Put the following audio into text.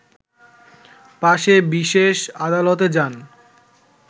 পাশে বিশেষ আদালতে যান